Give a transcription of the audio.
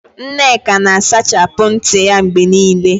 Nneka na-asachapụ ntị ya mgbe niile.